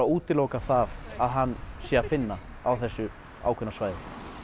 útiloka að hann sé að finna á þessu ákveðna svæði